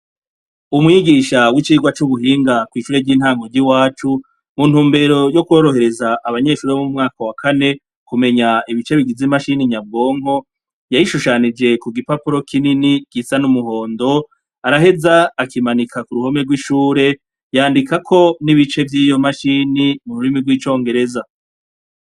Umwigisha wicigwa cubuhinga wo mwishure ryintango ry'iwacu ,mu ntumbero yokorohereza abanyeshure bo mumwaka wakane ,kumenya ibice bigeze imashini nyabwonko yayishushanije kugipapuro kinini gisa n'umuhondo araheza akimanika kuruhome rwishure yandikako nibice vyiyo machini muru rimi rw'icongereza.